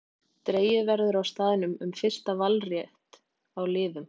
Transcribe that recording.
Dregið verður á staðnum um fyrsta valrétt á liðum.